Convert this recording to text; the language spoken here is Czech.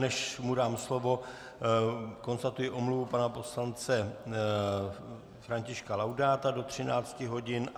Než mu dám slovo, konstatuji omluvu pana poslance Františka Laudáta do 13 hodin.